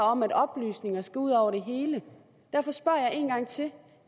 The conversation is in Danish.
om at oplysninger skal ud over det hele derfor spørger jeg en gang til